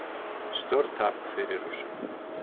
Stórtap fyrir Rússum